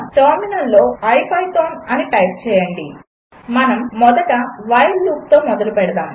టెర్మినల్లో IPython అని type చేయండి మనము మొదట వైల్ లూప్తో మొదలు పెడదాము